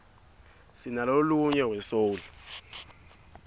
sinalonuyg we soul